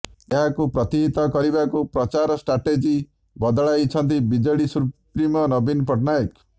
ଏହାକୁ ପ୍ରତିହତ କରିବାକୁ ପ୍ରଚାର ଷ୍ଟ୍ରାଟେଜି ବଦଳାଇଛନ୍ତି ବିଜେଡି ସୁପ୍ରିମୋ ନବୀନ ପଟ୍ଟନାୟକ